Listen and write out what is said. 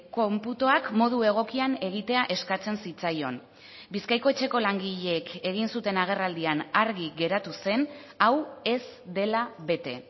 konputuak modu egokian egitea eskatzen zitzaion bizkaiko etxeko langileek egin zuten agerraldian argi geratu zen hau ez dela bete